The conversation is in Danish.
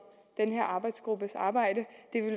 den her arbejdsgruppes arbejde